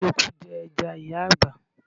Eku jẹ ẹja ìyá àgbà.